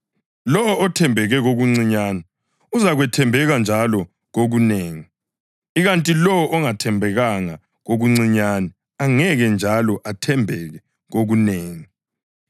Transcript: Lowo othembeke kokuncinyane uzakwethembeka njalo kokunengi, ikanti lowo ongathembekanga kokuncinyane angeke njalo athembeke kokunengi.